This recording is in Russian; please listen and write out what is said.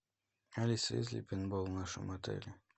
алиса есть ли пейнтбол в нашем отеле